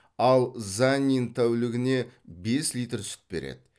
ал заннин тәулігіне бес литр сүт береді